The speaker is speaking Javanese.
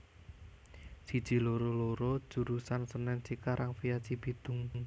siji loro loro jurusan Senen Cikarang via Cibitung